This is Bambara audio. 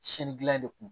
Sini dilan de kun